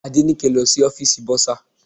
Adenike lọ sí ọ́fìsì bursar.